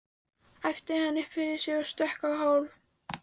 æpti hann upp yfir sig og stökk á hálf